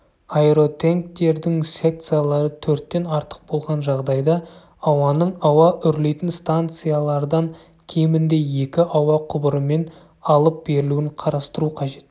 аэротенктердің секциялары төрттен артық болған жағдайда ауаның ауа үрлейтін станциялардан кемінде екі ауа құбырымен алып берілуін қарастыру қажет